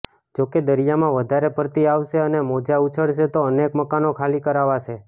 જો કે દરિયામાં વધારે ભરતી આવશે અને મોજા ઉછળશે તો અનેક મકાનો ખાલી કરાવાશે